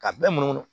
Ka bɛɛ munu munu